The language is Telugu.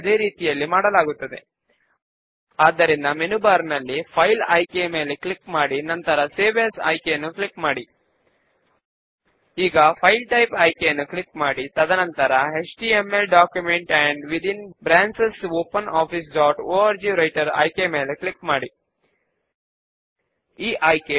ఇక్కడ ఫామ్ మరియు సబ్ ఫామ్ లు రెండిటికీ మనము మూడవ ఆప్షన్ అయిన డేటా షీట్ ను ఎంపిక చేసి నెక్స్ట్ బటన్ పైన క్లిక్ చేస్తాము